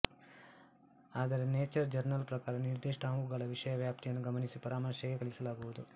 ಆದರೆ Nature journal ಪ್ರಕಾರ ನಿರ್ಧಿಷ್ಟ ಅವುಗಳ ವಿಷಯ ವ್ಯಾಪ್ತಿಯನ್ನು ಗಮನಿಸಿ ಪರಾಮರ್ಶೆಗೆ ಕಳಿಸಲಾಗುವುದು